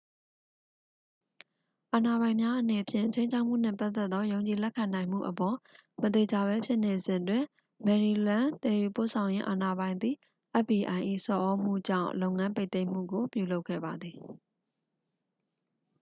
အာဏာပိုင်များအနေဖြင့် ခြိမ်းခြောက်မှုနှင့်ပတ်သက်သော ယုံကြည်လက်ခံနိုင်မှုအပေါ် မသေချာဘဲဖြစ်နေစဉ်တွင် maryland သယ်ယူပို့ဆောင်ရေးအာဏာပိုင်သည် fbi ၏ဆော်သြမှုကြောင့် လုပ်ငန်းပိတ်သိမ်းမှုကို ပြုလုပ်ခဲ့ပါသည်